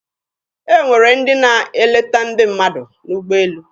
E nwere ndị na-eleta ndị mmadụ n'ụgbọelu.